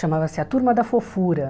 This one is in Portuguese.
Chamava-se A Turma da Fofura.